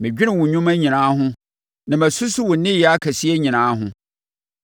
Mɛdwene wo nnwuma nyinaa ho na masusu wo nneyɛɛ akɛseɛ nyinaa ho.